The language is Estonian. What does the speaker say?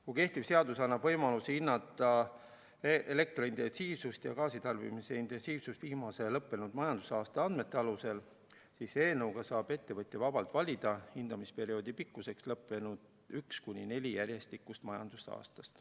Kui kehtiv seadus annab võimaluse hinnata elektrointensiivsust ja gaasitarbimise intensiivsust viimase lõppenud majandusaasta andmete alusel, siis eelnõu kohaselt saab ettevõtja hindamisperioodi pikkuseks vabalt valida lõppenud üks kuni neli järjestikust majandusaastat.